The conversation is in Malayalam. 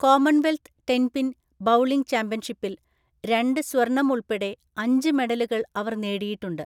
കോമൺവെൽത്ത് ടെൻപിൻ ബൗളിംഗ് ചാമ്പ്യൻഷിപ്പിൽ രണ്ട് സ്വർണം ഉൾപ്പെടെ അഞ്ച് മെഡലുകൾ അവർ നേടിയിട്ടുണ്ട്.